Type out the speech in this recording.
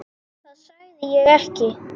Það sagði ég ekki